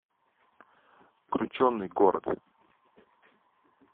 крученый город